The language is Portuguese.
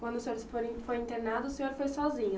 Quando o senhor se foi, foi internado, o senhor foi sozinho?